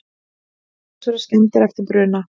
Talsverðar skemmdir eftir bruna